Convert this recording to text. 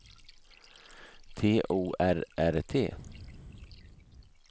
T O R R T